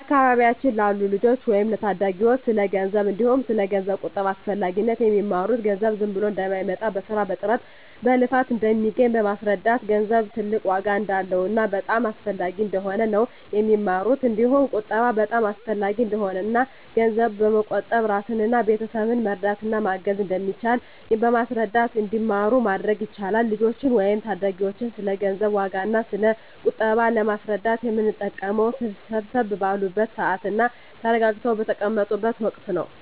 በአካባቢያችን ላሉ ልጆች ወይም ለታዳጊዎች ስለ ገንዘብ እንዲሁም ስለ ገንዘብ ቁጠባ አስፈላጊነት የሚማሩት ገንዘብ ዝም ብሎ እንደማይመጣ በስራ በጥረት በልፋት እንደሚገኝ በማስረዳት ገንዘብ ትልቅ ዋጋ እንዳለውና በጣም አስፈላጊ እንደሆነ ነው የሚማሩት እንዲሁም ቁጠባ በጣም አሰፈላጊ እንደሆነና እና ገንዘብ በመቆጠብ እራስንና ቤተሰብን መርዳት እና ማገዝ እንደሚቻል በማስረዳት እንዲማሩ ማድረግ ይቻላል። ልጆችን ወይም ታዳጊዎችን ስለ ገንዘብ ዋጋ እና ስለ ቁጠባ ለማስረዳት የምንጠቀመው ሰብሰብ ባሉበት ስዓት እና ተረጋግተው በተቀመጡት ወቀት ነው።